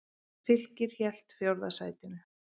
Fylkir hélt fjórða sætinu